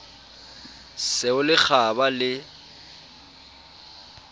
se o le kgaba le